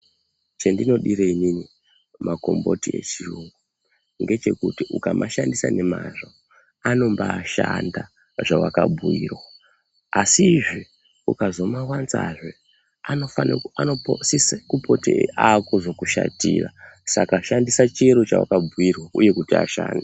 Chendinodire inini makomboti echirungu ngechekuti ukamashandisa nemazvo anombaashanda zvewakabhuyirwa asizve ukazomawanzazve anosise kupote aakuzokushatira saka shandisa chiro chewakabhuyirwa uye kuti ashande.